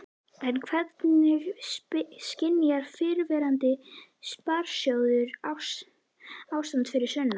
En hvernig skynjar fyrrverandi sparisjóðsstjóri ástandið fyrir sunnan?